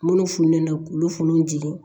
Minnu funteni na k'olu funu